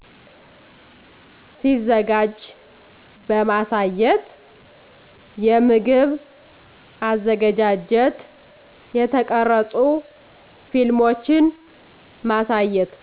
ሲዘጋጂ በማሳየት የምግብ አዘገጃጀት የተቀረፁ ፊልሞችን ማሳየት